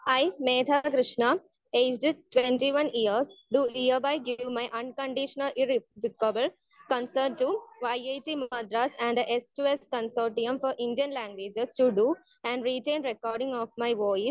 speaker 1 I, Megha Krishna age 21 years do hereby give my unconditional irrevocable consent to IIT Madras and the S two S consortium for Indian languages to do and written recording of my voice